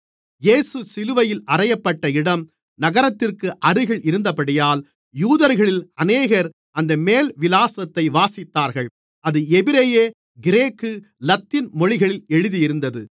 இயேசு சிலுவையில் அறையப்பட்ட இடம் நகரத்திற்கு அருகில் இருந்தபடியால் யூதர்களில் அநேகர் அந்த மேல்விலாசத்தை வாசித்தார்கள் அது எபிரெய கிரேக்கு லத்தீன் மொழிகளில் எழுதியிருந்தது